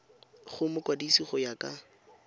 go mokwadise go ya ka